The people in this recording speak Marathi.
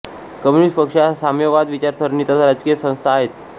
कम्युनिस्ट पक्ष या साम्यवाद विचारसरणीच्या राजकीय संस्था आहेत